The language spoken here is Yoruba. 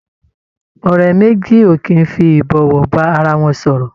Ọ̀rẹ́ méjì ò kì í fi ìbọ̀wọ̀ bá ara wọn sọ̀rọ̀.